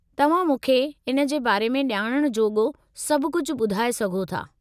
तव्हां मूंखे इन जे बारे में ॼाणणु जोॻो सभु कुझु ॿुधाऐ सघो था।